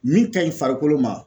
Min ka ɲi farikolo ma